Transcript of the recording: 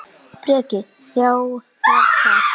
Breki: Já, er það?